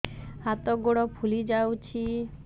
ହାତ ଗୋଡ଼ ଫୁଲି ଯାଉଛି